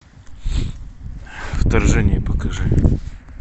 вторжение покажи